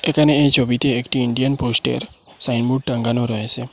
এখানে এই ছবিতে একটি ইন্ডিয়ান পোস্টের সাইনবোর্ড টাঙানো রয়েসে।